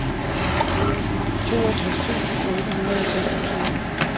toogtres tusind otte hundrede og seksogtyve